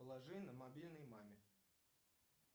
положи на мобильный маме